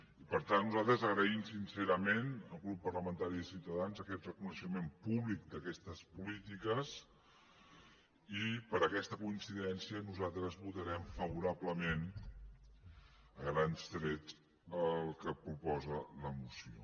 i per tant nosaltres agraïm sincerament al grup parlamentari de ciutadans aquest reconeixement públic d’aquestes polítiques i per aquesta coincidència nosaltres votarem favorablement a grans trets el que proposa la moció